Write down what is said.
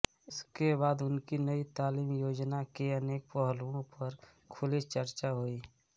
उसके बाद उनकी नई तालीम योजना के अनेक पहलुओं पर खुली चर्चा हुई